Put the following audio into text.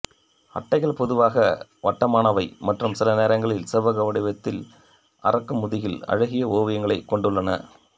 அட்டைகள் பொதுவாக வட்டமானவை மற்றும் சில நேரங்களில் செவ்வக வடிவத்தில் அரக்கு முதுகில் அழகிய ஓவியங்களைக் கொண்டுள்ளன